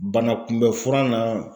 Banakunbɛnfura na